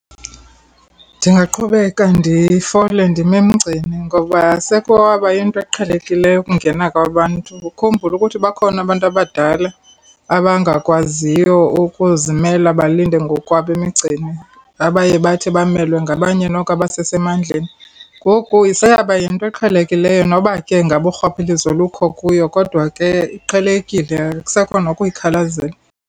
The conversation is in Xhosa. Ndingaqhubeka ndifole, ndime emgceni ngoba sekwaba yinto eqhelekileyo ukungena kwabantu. Ukhumbule ukuthi bakhona abantu abadala abangakwaziyo ukuzimela balinde ngokwabo emigceni, abaye bathi bamelwe ngabanye noko abasesemandleni. Ngoku seyaba yinto eqhelekileyo noba ke ngaba urhwaphilizo lukho kuyo kodwa ke iqhelekile, akusekho nokuyikhalazela.